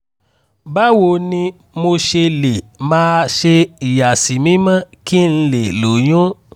báwo ni mo ṣe lè máa ṣe ìyàsímímọ́ kí n lè lóyún?